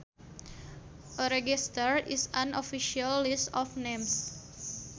A register is an official list of names